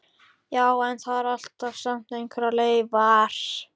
Já, en það eru samt alltaf einhverjar leifar.